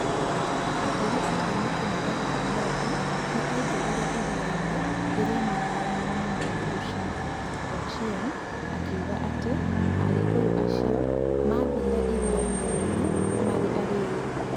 "Ategi a thamaki moigaga Omondi nĩ aingĩrire iria-inĩ rĩrĩa maahũranaga na mũndũ ũcio", Ochieng, akiuga atĩ agĩkũyũ acio maathire iria-inĩ rĩrĩa maarĩ arĩĩu.